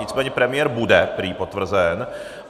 Nicméně premiér bude prý potvrzen.